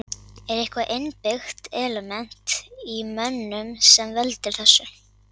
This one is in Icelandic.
Er eitthvað innbyggt element í mönnum sem veldur þessu?